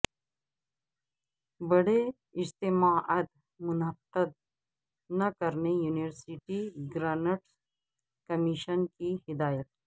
بڑے اجتماعات منعقد نہ کرنے یونیورسٹی گرانٹس کمیشن کی ہدایت